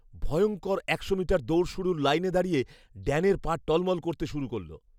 ভয়ঙ্কর একশো মিটার দৌড় শুরুর লাইনে দাঁড়িয়ে ড্যানের পা টলমল করতে শুরু করলো।